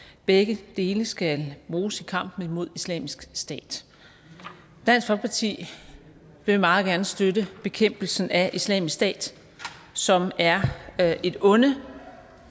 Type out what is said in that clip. begge dele skal bruges i kampen mod islamisk stat dansk folkeparti vil meget gerne støtte bekæmpelsen af islamisk stat som er et onde